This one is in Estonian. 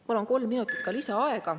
Palun kolm minutit lisaaega.